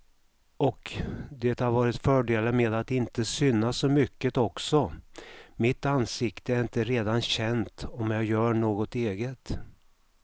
Och det har varit fördelar med att inte synas så mycket också, mitt ansikte är inte redan känt om jag gör något eget.